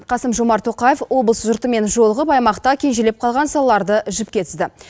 қасым жомарт тоқаев облыс жұртымен жолығып аймақта кежелеп қалған салаларды жіпке тізді